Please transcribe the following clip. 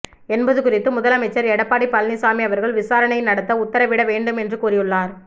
என்பது குறித்து முதலமைச்சர் எடப்பாடி பழனிச்சாமி அவர்கள் விசாரணை நடத்த உத்தரவிட வேண்டும் என்று கூறியுள்ளார்